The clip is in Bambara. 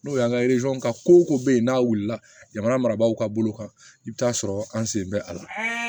N'o y'an ka ka ko ko bɛ yen n'a wulila jamana marabagaw ka bolo kan i bɛ taa sɔrɔ an sen bɛ a la